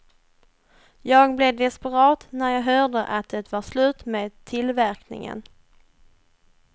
Jag blev desperat när jag hörde att det var slut med tillverkningen.